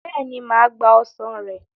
Bẹ́ẹ̀ni, mà á gba ọsàn rẹ̀.